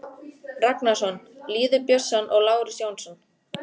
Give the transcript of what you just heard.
Ragnarsson, Lýður Björnsson og Lárus Jónsson.